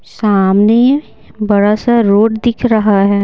सामने बड़ा सा रोड दिख रहा है।